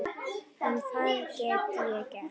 En hvað get ég gert?